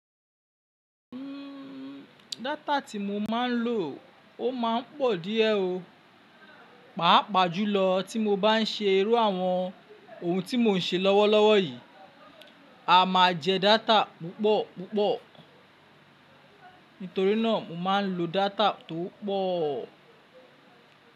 Uhm, data tí mo máa ń lò ó máa ń pọ̀ díẹ̀ o. Páápàá jùlọ tí mo bá ń ṣe irú àwọn ohun tí mò ń ṣe lọ́wọ́lọ́wọ́ yìí, a máa jẹ data púpọ̀ púpọ̀. Nítorí náà mo máa ń lo data tó pọ̀.